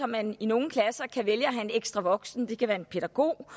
man i nogle klasser kan vælge at have en ekstra voksen det kan være en pædagog